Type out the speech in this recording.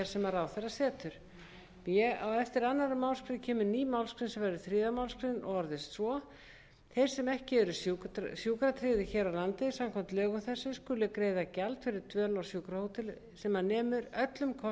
sem ráðherra setur b á eftir annarri málsgrein kemur ný málsgrein sem verður þriðja málsgrein og orðast svo þeir sem ekki eru sjúkratryggðir hér á landi samkvæmt lögum þessum skulu greiða gjald fyrir dvöl á sjúkrahóteli sem nemur öllum kostnaði sem til fellur